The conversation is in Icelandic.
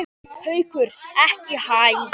Haukur: Ekki hæ?